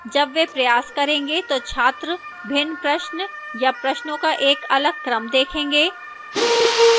जब वे प्रयास करेंगे तो छात्र भिन्न प्रश्न या प्रश्नों का एक अलग क्रम देखेंगे